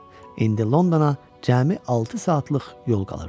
İndi Londona cəmi altı saatlıq yol qalırdı.